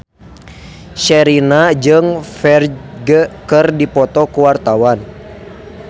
Sherina jeung Ferdge keur dipoto ku wartawan